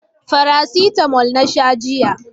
Farasitamo na sha jiya